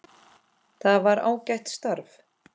Það var ágætt starf.